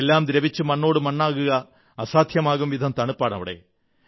എല്ലാം ദ്രവിച്ചു മണ്ണോടുമണ്ണാകുക അസാധ്യമാക്കും വിധം തണുപ്പാണവിടെ